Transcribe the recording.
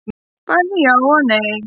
Bæði já og nei.